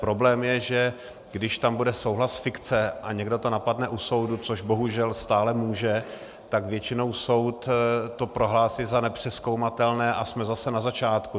Problém je, že když tam bude souhlas fikce a někdo to napadne u soudu, což bohužel stále může, tak většinou soud to prohlásí za nepřezkoumatelné a jsme zase na začátku.